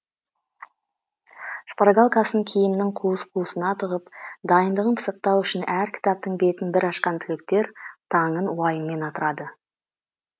шпоргалкасын киімінің қуыс қуысына тығып дайындығын пысықтау үшін әр кітаптың бетін бір ашқан түлектер таңын уайыммен атырады